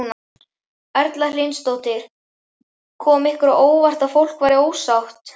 Erla Hlynsdóttir: Kom ykkur á óvart að fólk væri ósátt?